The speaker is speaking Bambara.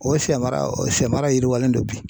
O siyɛmara o siyɛmara yiriwalen don bi.